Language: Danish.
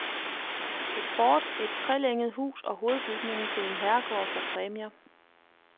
Et fort, et trelænget hus og hovedbygningen til en herregård får præmier.